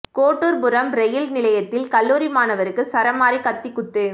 Kotturpuram rail நிலையத்தில் கல்லூரி மாணவருக்கு சராமாரி கத்திக்குத்து